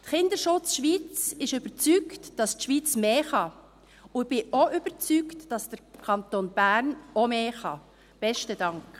Kinderschutz Schweiz ist überzeugt, dass die Schweiz mehr kann, und ich bin auch überzeugt, dass auch der Kanton Bern mehr kann.